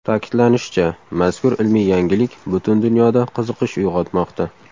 Ta’kidlanishicha, mazkur ilmiy yangilik butun dunyoda qiziqish uyg‘otmoqda.